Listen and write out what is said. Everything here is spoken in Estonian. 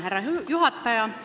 Härra juhataja!